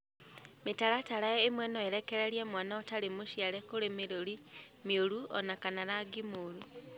Mĩtaratara ĩmwe no ĩrekererie mwana ũtarĩ mũciare kũrĩ mĩrũri mĩũru o na kana rangi mũũru.